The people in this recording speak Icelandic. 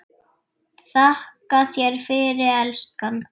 Þakka þér fyrir, elskan.